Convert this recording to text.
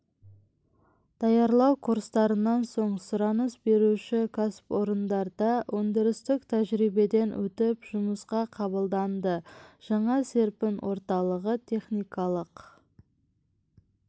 даярлау курстарынан соң сұраныс беруші кәсіпорындарда өндірістік тәжірибеден өтіп жұмысқа қабылданады жаңа серпін орталығы техникалық